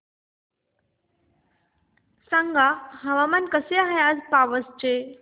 सांगा हवामान कसे आहे आज पावस चे